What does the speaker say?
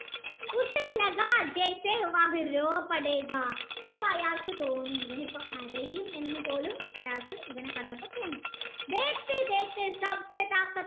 അപ്പൊ അയാൾക്ക് തോണി ഇവാൻ ഇപ്പൊ കരയും എന്നുപോലും എന്നയാൾക് ഇവനെ കണ്ടപ്പോ തോന്നി